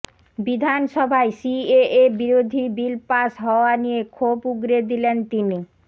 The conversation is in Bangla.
বিধানসভায় সিএএ বিরোধী বিল পাস হওয়া নিয়ে ক্ষোভ উগরে দিলেন তিনি